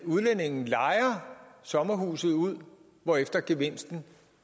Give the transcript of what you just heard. udlændingen lejer sommerhuset ud hvorefter gevinsten